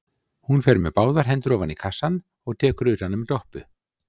Hún fer með báðar hendur ofan í kassann og tekur utan um Doppu.